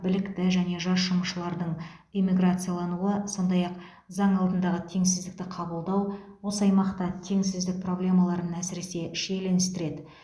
білікті және жас жұмысшылардың эмиграциялануы сондай ақ заң алдындағы теңсіздікті қабылдау осы аймақта теңсіздік проблемаларын әсіресе шиеленістіреді